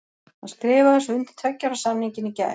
Hann skrifaði svo undir tveggja ára samningin í gær.